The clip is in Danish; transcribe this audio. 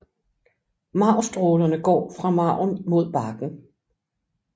Marvstrålerne går fra marven mod barken